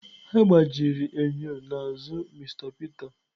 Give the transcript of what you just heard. Egbajiri enyo n'azụ Mr Peter.